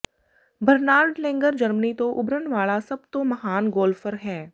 ਬਰਨਰਹਾਰਡ Langer Germany ਤੋਂ ਉਭਰਨ ਵਾਲਾ ਸਭ ਤੋਂ ਮਹਾਨ ਗੋਲਫ਼ਰ ਹੈ